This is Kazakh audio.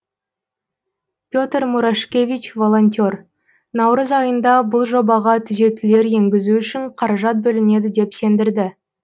пе тр мурашкевич волонтер наурыз айында бұл жобаға түзетулер енгізу үшін қаражат бөлінеді деп сендірді